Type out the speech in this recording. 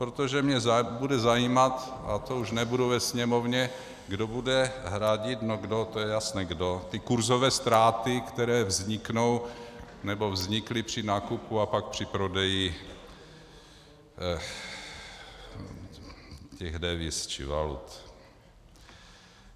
Protože mě bude zajímat, a to už nebudu ve Sněmovně, kdo bude hradit - no kdo, to je jasné kdo - ty kurzové ztráty, které vzniknou, nebo vznikly při nákupu a pak při prodeji těch deviz či valut.